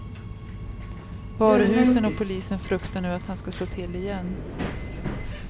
Varuhusen och polisen fruktar nu att han ska slå till igen.